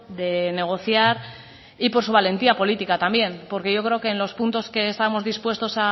de negociar y por su valentía política también porque yo creo que en los puntos que estamos dispuestos